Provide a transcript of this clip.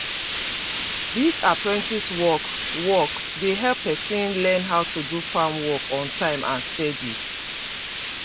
this apprentice work work dey help person learn how to do farm work on time and steady